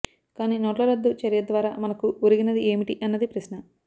కాని నోట్ల రద్దు చర్యద్వారా మనకు ఒరిగినది ఏమిటి అన్నది ప్రశ్న